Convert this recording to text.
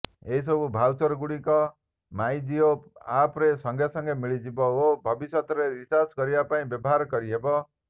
ଏସବୁ ଭାଉଚର ଗୁଡ଼ିକ ମାଇଜିଓ ଆପ୍ରେ ସଙ୍ଗେ ସଙ୍ଗେ ମିଳିପାରିବ ଓ ଭବିଷ୍ୟତରେ ରିଚାର୍ଜ କରିବା ଲାଗି ବ୍ୟବହାର କରିହେବ